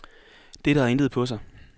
Dette har intet på sig.